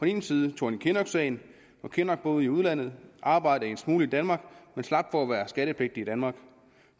ene side thorning kinnock sagen hvor kinnock boede i udlandet og arbejdede en smule i danmark men slap for at være skattepligtig i danmark